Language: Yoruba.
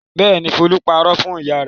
Bẹ́ẹ̀ ni, Folú parọ́ fún ìyá rẹ̀.